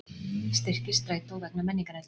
Styrkir Strætó vegna menningarnætur